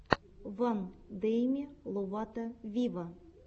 вайн деми ловато виво